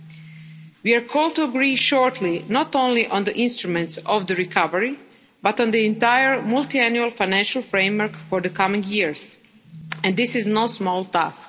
We will shortly be called on to agree not only on the instruments of the recovery, but on the entire Multiannual Financial Framework for the coming years, and this is no small task.